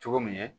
Cogo min